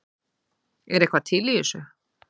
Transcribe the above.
Er eitthvað til í þessu